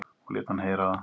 Og lét hann heyra það.